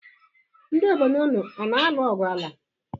Ndị obodo unu ana-alụ ogwụ ala?